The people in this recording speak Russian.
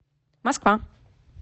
москва